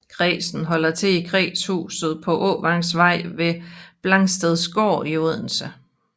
Kredsen holder til i kredshuset på Åvangsvej ved Blangstedgård i Odense